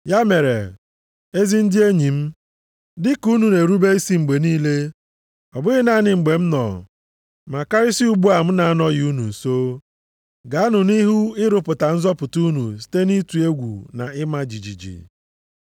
Ya mere, ezi ndị enyi m, dị ka unu na-erube isi mgbe niile, ọ bụghị naanị mgbe m nọ, ma karịsịa ugbu a m na-anọghị unu nso, gaanụ nʼihu ịrụpụta nzọpụta unu site nʼịtụ egwu na ịma jijiji.